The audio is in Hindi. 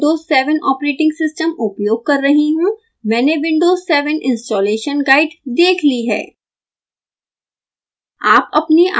चूँकि मैं विंडोज़ 7 ऑपरेटिंग सिस्टम उपयोग कर रही हूँ मैंने windows 7 installation guide देख ली है